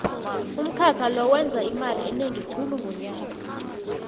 umkhakha lo wenza imali enengi khulu ngonyaka